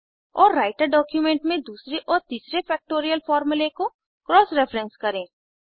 और writer document में दूसरे और तीसरे फ़ैक्टोरियल फॉर्मूले को क्रॉस रेफेरेंस करें